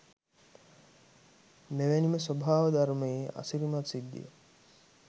මෙ වැනි ම ස්වභාව ධර්මයේ අසිරිමත් සිද්ධියක්